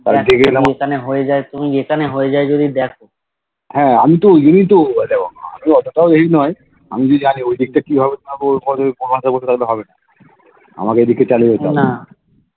গেলাম হে আমি তো ঐযোন্যেই তো আমি অতটাও ই নয় আমি যদি আগে ওদিকটা কিভাবে যাবো বসে থাকলে হবেনা আমার তো চালিয়ে যেতে হবে